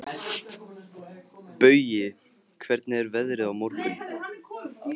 Baui, hvernig er veðrið á morgun?